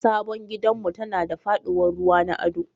Sabon gidanmu tana da faɗuwar ruwa na ado